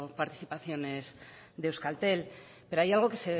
participaciones de euskaltel pero hay algo que